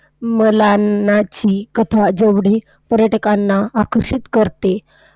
मलानाची कथा जेवढी पर्यटकांना आकर्षित करते,